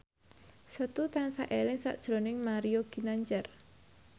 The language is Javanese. Setu tansah eling sakjroning Mario Ginanjar